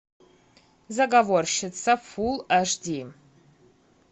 заговорщица фул аш ди